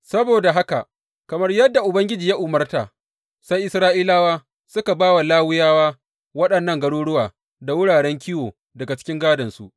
Saboda haka kamar yadda Ubangiji ya umarta, sai Isra’ilawa suka ba wa Lawiyawa waɗannan garuruwa da wuraren kiwo daga cikin gādonsu.